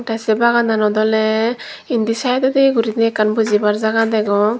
tey sey bagananot oley indi saidodi guri ekan bujibar jaga degong.